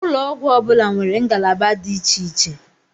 Ụlọ ọgwụ ọbula nwèrè ngalaba dị iche iche